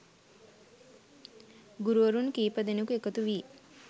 ගුරුවරුන් කීප දෙනෙකු එකතු වී